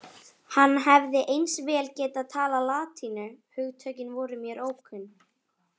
Hann hefði eins vel getað talað latínu, hugtökin voru mér ókunn.